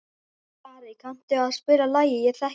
Skari, kanntu að spila lagið „Ég þekki þig“?